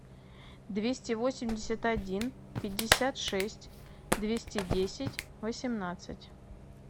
двести восемьдесят один пятьдесят шесть двести десять восемнадцать